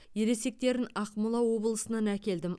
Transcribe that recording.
ересектерін ақмола облысынан әкелдім